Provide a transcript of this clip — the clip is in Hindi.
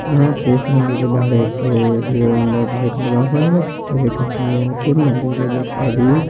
यहा पे इस मंदिर के बाहर एक हीरो होंडा बाइक लगा हुआ है जिसे एक आदमी आके मंदिर के गेट पे भी--